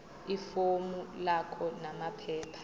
ifomu lakho namaphepha